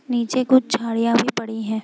नीचे कुछ झाड़ियां भी पड़ी है।